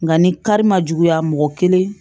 Nka ni kari ma juguya mɔgɔ kelen